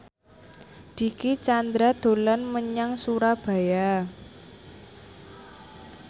Dicky Chandra dolan menyang Surabaya